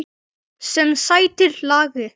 Sem sætir lagi.